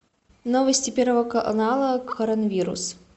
новости первого канала коронавирус